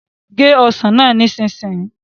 gé ọsán náà nísìsiyìí